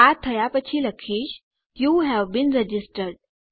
આ થયા પછી લખીશ યુ હવે બીન રજિસ્ટર્ડ